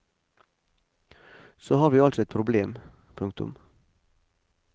Så har vi altså et problem. punktum